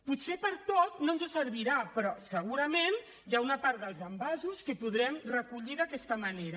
potser per a tot no ens servirà però segurament hi ha una part dels envasos que podrem recollir d’aquesta manera